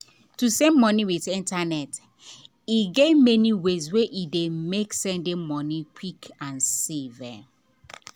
to send money with internaet get many ways wey dey make sending money quick and safe.